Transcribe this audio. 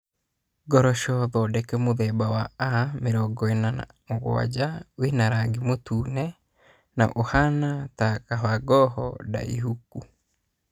Ngoroco thondeke mũthemba wa A47 wĩ na rangi mũtune na ũhaana ta kabangoho ndaĩhũku.